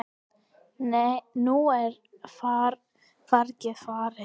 Nú er fargið farið.